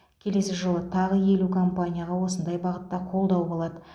келесі жылы тағы елу компанияға осындай бағытта қолдау болады